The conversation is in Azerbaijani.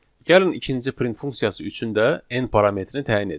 Gəlin ikinci print funksiyası üçün də n parametrini təyin edək.